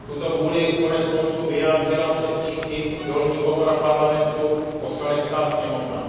Tuto vůli koneckonců vyjádřila předtím i dolní komora Parlamentu, Poslanecká sněmovna.